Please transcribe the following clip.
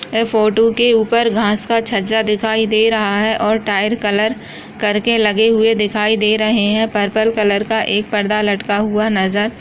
ये फोटो के ऊपर घास का छज्जा दिखाई दे रहा है और टाइल कलर कर के लगे हुए दिखाई दे रहे है पर्पल कलर का एक पर्दा लटका हुआ नज़र--